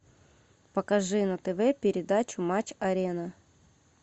покажи на тв передачу матч арена